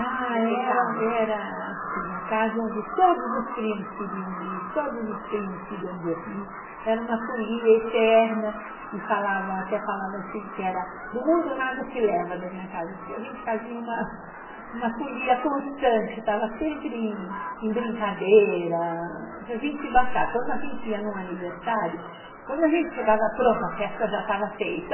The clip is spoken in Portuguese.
Ah, era era assim, a casa onde todos os primos queriam ir, todos os primos queriam dormir, era uma folia eterna, e falavam, até falavam assim, que era, do mundo nada se leva da minha casa, porque a gente fazia uma uma folia constante, estava sempre em em brincadeira, se a gente se bastar, quando a gente ia num aniversário, quando a gente chegava, pronto, a festa já estava feita.